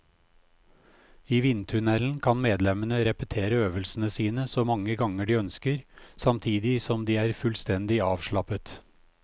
I vindtunnelen kan medlemmene repetere øvelsene sine så mange ganger de ønsker, samtidig som de er fullstendig avslappet.